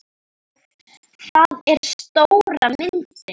Það er stóra myndin.